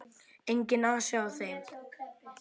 Enginn asi á þeim.